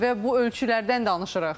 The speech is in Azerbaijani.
Və bu ölçülərdən danışırıq.